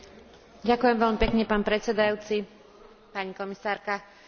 Zavedenie schengenského priestoru patrí medzi najväčšie úspechy Európskej únie.